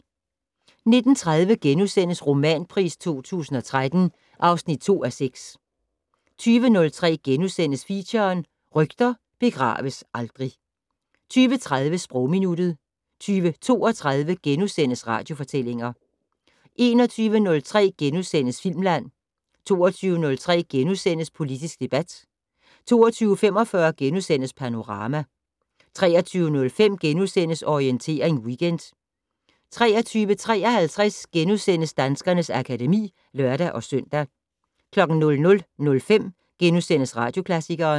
19:30: Romanpris 2013 (2:6)* 20:03: Feature: Rygter begraves aldrig * 20:30: Sprogminuttet 20:32: Radiofortællinger * 21:03: Filmland * 22:03: Politisk debat * 22:45: Panorama * 23:05: Orientering Weekend * 23:53: Danskernes akademi *(lør-søn) 00:05: Radioklassikeren *